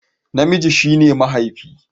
Namiji shi ne mahaifi